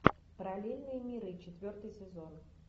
параллельные миры четвертый сезон